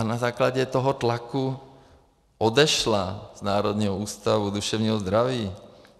A na základě toho tlaku odešla z Národního ústavu duševního zdraví.